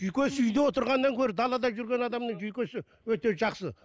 жүйкесі үйде отырғаннан гөрі далада жүрген адамның жүйкесі өте жақсы